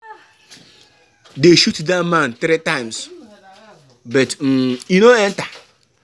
Dey shoot dat man three times but um e no enter.